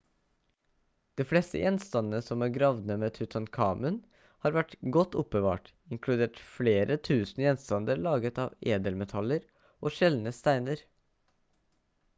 de fleste gjenstandene som er gravd ned med tutankhamun har vært godt oppbevart inkludert flere 1000 gjenstander laget fra edelmetaller og sjeldne steiner